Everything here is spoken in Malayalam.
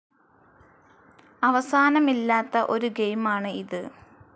അവസാനമില്ലാത്ത ഒരു ഗെയിമാണ് ഇത്.